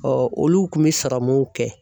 olu kun bɛ sɔrɔmunw kɛ.